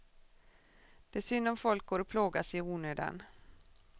Det är synd om folk går och plågas i onödan.